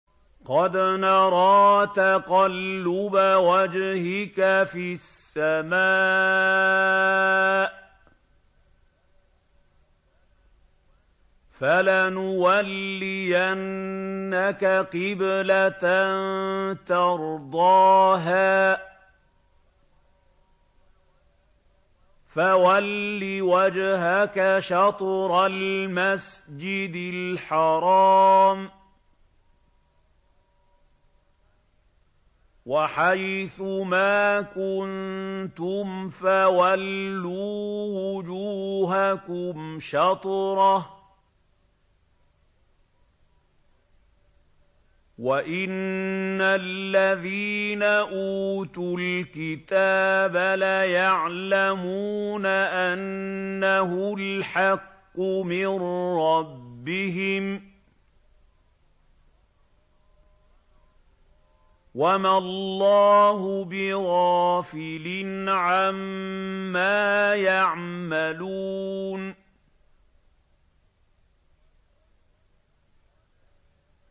قَدْ نَرَىٰ تَقَلُّبَ وَجْهِكَ فِي السَّمَاءِ ۖ فَلَنُوَلِّيَنَّكَ قِبْلَةً تَرْضَاهَا ۚ فَوَلِّ وَجْهَكَ شَطْرَ الْمَسْجِدِ الْحَرَامِ ۚ وَحَيْثُ مَا كُنتُمْ فَوَلُّوا وُجُوهَكُمْ شَطْرَهُ ۗ وَإِنَّ الَّذِينَ أُوتُوا الْكِتَابَ لَيَعْلَمُونَ أَنَّهُ الْحَقُّ مِن رَّبِّهِمْ ۗ وَمَا اللَّهُ بِغَافِلٍ عَمَّا يَعْمَلُونَ